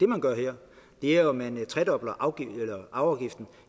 man gør her er jo at man tredobler arveafgiften